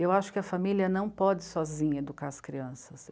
Eu acho que a família não pode sozinha educar as crianças.